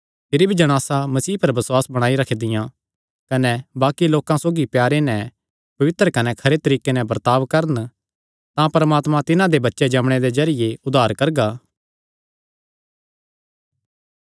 भिरी भी जणासां मसीह पर बसुआस बणाई रखदियां कने बाक्कि लोकां सौगी प्यारे नैं पवित्र कने खरे तरीके नैं बर्ताब करन तां परमात्मा तिन्हां दा बच्चे जम्मणे दे जरिये उद्धार करगा